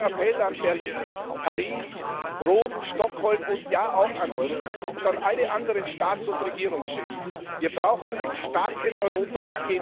Darum mein Appell an Berlin, Paris, Rom, Stockholm und ja, auch an Wien und an alle anderen Staats und Regierungschefs Wir brauchen ein starkes Europa!